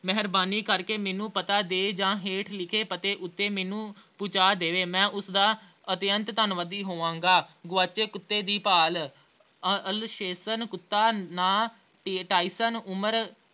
ਮਿਹਰਬਾਨੀ ਕਰਕੇ ਮੈਂਨੂੰ ਪਤਾ ਦੇ ਅਹ ਜਾਂ ਹੇਠ ਲਿਖੇੇ ਪਤੇ ਉੱਤੇ ਮੈਂਨੂੰ ਪਹੁੰਚਾ ਦੇਵੇ ਮੈਂ ਉਸਦਾ ਅਤਿਅੰਤ ਧੰਨਵਾਦੀ ਹੋਵਾਂਗਾ। ਗੁਆਚੇ ਕੁੱਤੇ ਦੀ ਭਾਲ ਅਹ Alsatian ਕੁੱਤਾ ਨਾਂ Tyson ਉਮਰ